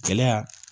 Gɛlɛya